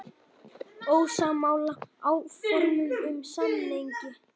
Ósammála áformum um sameiningu